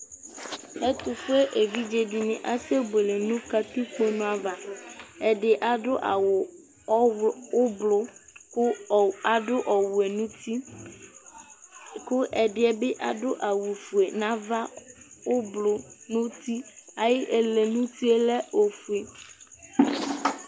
ɛtʋƒʋɛ ɛvidzɛ dini asɛ bʋɛlɛ nʋ katikpɔ nɛ aɣa, ɛdi adʋ awʋ ɔblɔ kʋ adʋ ɔwɛ nʋ ʋti kʋ ɛdiniɛ bi adʋ awʋ ƒʋɛ nʋ aɣa, ɔblɔ nʋ ʋti, ayi ɛlɛ nʋ ʋtiɛ lɛ ɔƒʋɛ